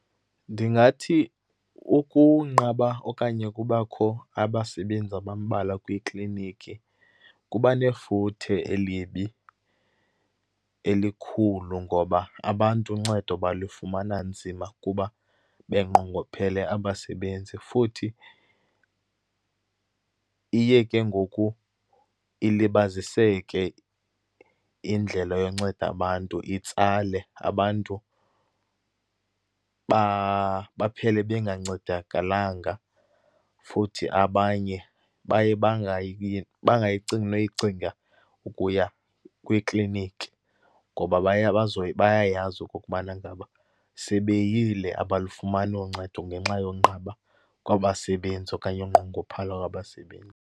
Ndingathi ukunqaba okanye ukubakho abasebenzi abambalwa kwiiklinikhi kuba nefuthe elibi, elikhulu ngoba abantu uncedo balufumana nzima kuba benqongophele abasebenzi. Futhi, iye ke ngoku ilibaziseke indlela yonceda abantu, itsale. Abantu baphele bengancedakalanga, futhi abanye baye bangayicingi noyicinga ukuya kwiklinikhi ngoba bayayazi okokubana ngaba, sebeyile abalufumani uncedo ngenxa yonqaba kwabasebenzi okanye unqongophala kwabasebenzi.